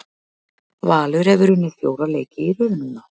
Valur hefur unnið fjóra leiki í röð núna.